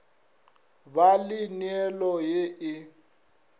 ba le neelo ye e